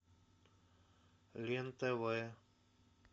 лен тв